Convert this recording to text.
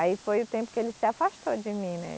Aí foi o tempo que ele se afastou de mim, né?